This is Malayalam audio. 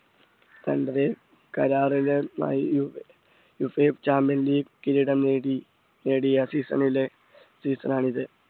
കണ്ടത് കരാറുകളുമായി ചാമ്പ്യൻ ലീഗ് കിരീടം നേടി നേടിയ season ലെ season ആണിത്